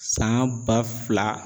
San ba fila